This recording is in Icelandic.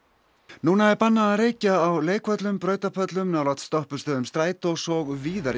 núna er bannað að reykja á leikvöllum brautarpöllum nálægt stoppistöðvum strætós og víðar